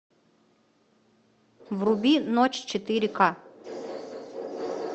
вруби ночь четыре ка